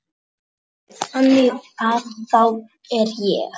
Þannig að þá er ég.